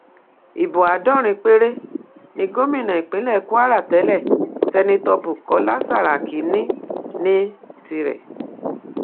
ibo àádọrin péré ni gomina ìpínlẹ kwara tẹlẹ sènẹto bukola saraki ní ní tirẹ